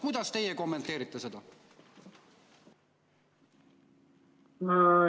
Kuidas teie kommenteerite seda?